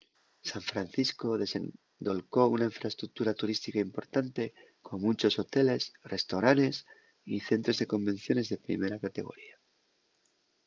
san francisco desendolcó una infraestructura turística importante con munchos hoteles restoranes y centros de convenciones de primera categoría